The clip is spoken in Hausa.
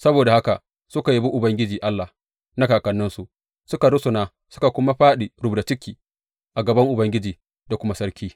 Saboda haka suka yabi Ubangiji Allah na kakanninsu; suka rusuna suka kuma fāɗi rubda ciki a gaban Ubangiji da kuma sarki.